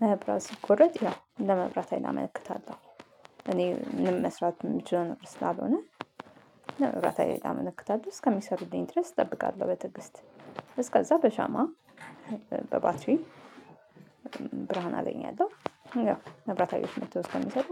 መብራት ሲቆረጥ ያው ለመብራት ሀይል እመክታለሁ እኔ ምንም መስራት የምችለው ነገር ስላልሆነ። ለመብራት ሀይሎች አመለክታለሁ እስከሚሰሩት ድረስ እጠብቃለሁ በትግስት እስከዛ በሻማ በባትሪ ብርሃን አገኛለሁ። ያው መብራት ሃይሎዎች መጥተው እስከሚሰሩ